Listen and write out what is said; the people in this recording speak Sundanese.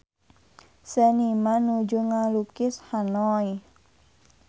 Seniman nuju ngalukis Hanoi